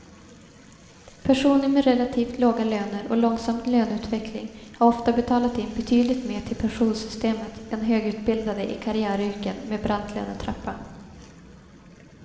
Personer med relativt låga löner och långsam löneutveckling har ofta betalat in betydligt mer till pensionssystemet än högutbildade i karriäryrken med brant lönetrappa.